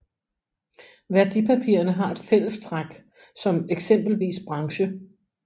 Værdipapirerne har et fællestræk som eksempelvis branche